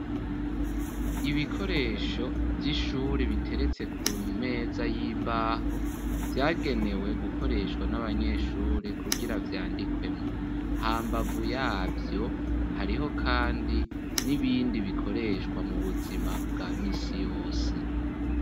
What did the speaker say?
Ibikoresho by'ishuri biteretse ku meza y'imbaho vyagenewe gukoreshwa n'abanyeshuri kugira vyandikwemo ha mbavu yavyo hariho kandi n'ibindi bikoreshwa mu buzima bwa misi yose.